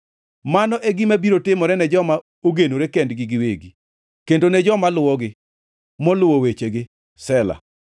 Mano e gima biro timore ne joma ogenore kendgi giwegi, kendo ne joma luwogi, moluwo wechegi. Sela